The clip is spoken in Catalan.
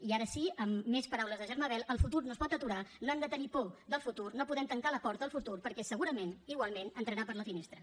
i ara sí amb més paraules de germà bel el futur no es pot aturar no hem de tenir por del futur no podem tancar la porta al futur perquè segurament igualment entrarà per la finestra